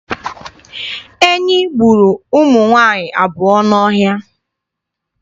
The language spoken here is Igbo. Enyi gburu ụmụ nwaanyị abụọ n'ọhịa.